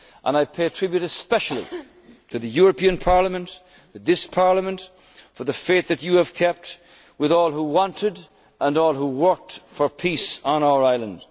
in our country. I pay tribute especially to the European Parliament for the faith that you have kept with all who wanted and all who worked for peace